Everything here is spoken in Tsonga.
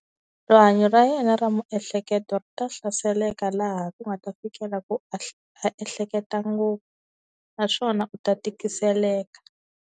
Rihanyo ra yena ra miehleketo ri ta hlaseleka laha ku nga ta fikela ku a ehleketa ngopfu naswona u ta tikiseleka.